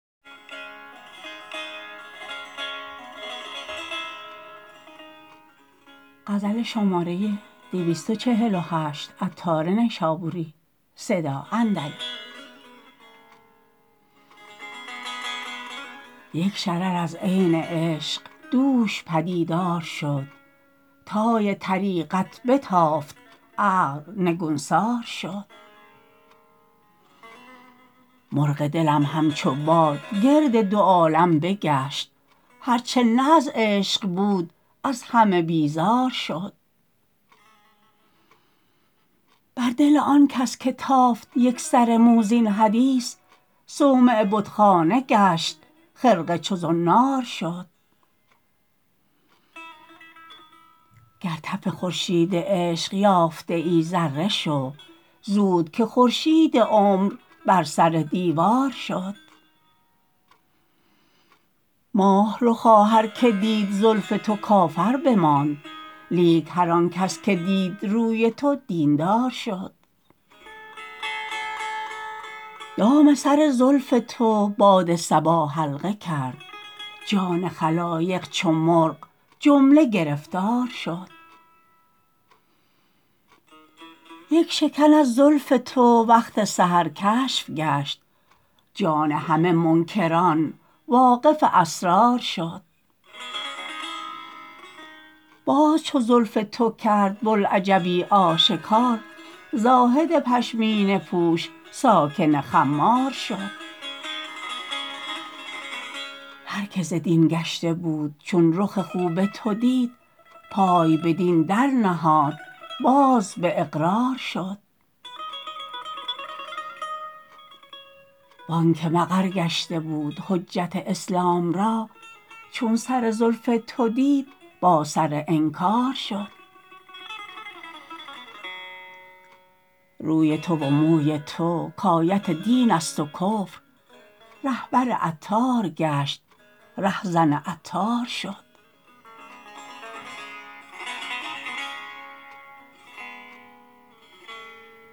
یک شرر از عین عشق دوش پدیدار شد طای طریقت بتافت عقل نگونسار شد مرغ دلم همچو باد گرد دو عالم بگشت هرچه نه از عشق بود از همه بیزار شد بر دل آن کس که تافت یک سر مو زین حدیث صومعه بتخانه گشت خرقه چو زنار شد گر تف خورشید عشق یافته ای ذره شو زود که خورشید عمر بر سر دیوار شد ماه رخا هر که دید زلف تو کافر بماند لیک هر آنکس که دید روی تو دین دار شد دام سر زلف تو باد صبا حلقه کرد جان خلایق چو مرغ جمله گرفتار شد یک شکن از زلف تو وقت سحر کشف گشت جان همه منکران واقف اسرار شد باز چو زلف تو کرد بلعجبی آشکار زاهد پشمینه پوش ساکن خمار شد هر که ز دین گشته بود چون رخ خوب تو دید پای بدین در نهاد باز به اقرار شد وانکه مقر گشته بود حجت اسلام را چون سر زلف تو دید با سر انکار شد روی تو و موی تو کایت دین است و کفر رهبر عطار گشت ره زن عطار شد